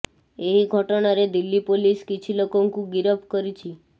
ଏହି ଘଟଣାରେ ଦିଲ୍ଲୀ ପୋଲିସ କିଛି ଲୋକଙ୍କୁ ଗିରଫ କରିଛି